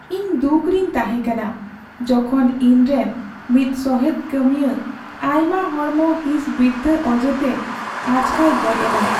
ᱤᱧ ᱫᱩᱠᱷ ᱨᱤᱧ ᱛᱟᱦᱮᱸ ᱠᱟᱱᱟ ᱡᱚᱠᱷᱚᱱ ᱤᱧ ᱨᱮᱱ ᱢᱤᱫ ᱥᱚᱦᱮᱫ ᱠᱟᱹᱢᱤᱭᱟᱹ ᱟᱭᱢᱟ ᱦᱚᱲᱢᱚ ᱦᱤᱸᱥ ᱵᱤᱨᱛᱷᱟᱹ ᱚᱡᱮᱛᱮ ᱟᱪᱠᱟᱭ ᱜᱚᱡ ᱮᱱᱟ ᱾